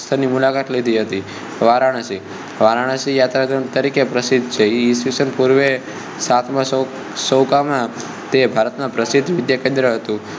ની મુલાકાત લીધી હતી વારાણસી વારાણસી યાત્રાધામ તરીકે પ્રસિદ્ધ છે એ ઈશ પૂર્વે સાત માં સૈકામાં તે ભારત નાં પ્રસિદ્ધ વિદ્યાકેન્દ્ર હતું